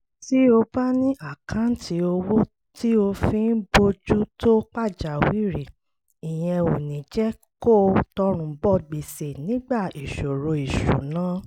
tí o bá ní àkáǹtì owó tí o fi ń bójú tó pàjáwìrì ìyẹn ò ní jẹ́ kó o tọrùn bọ gbèsè nígbà ìṣòro ìṣúnná